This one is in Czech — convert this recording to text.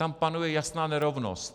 Tam panuje jasná nerovnost.